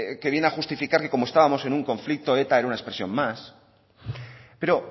que viene a justificar que como estábamos en un conflicto eta era una expresión más pero